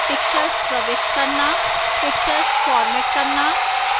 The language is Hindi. pictures प्रविष्ट करना